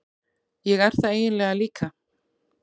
Ég er það eiginlega líka.